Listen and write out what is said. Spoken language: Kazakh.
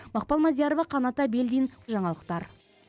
мақпал мадиярова қанат әбілдин жаңалықтар